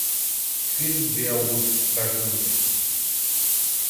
фильм беовульф покажи мне